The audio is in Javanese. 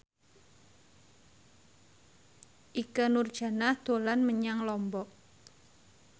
Ikke Nurjanah dolan menyang Lombok